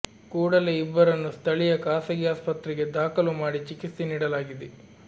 ಕೂಡಲೇ ಇಬ್ಬರನ್ನು ಸ್ಥಳೀಯ ಖಾಸಗಿ ಆಸ್ಪತ್ರೆಗೆ ದಾಖಲು ಮಾಡಿ ಚಿಕಿತ್ಸೆ ನೀಡಲಾಗಿದೆ